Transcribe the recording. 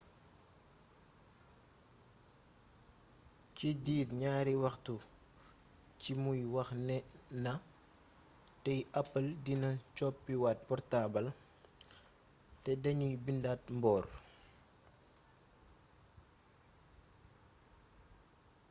ci diir ñaari waxtu ci muy wax nee na tey apple dina coppi waat portaabal tey dañuy bindaat mboor''